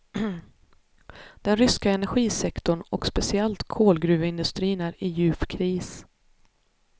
Den ryska energisektorn och speciellt kolgruveindustrin är i djup kris.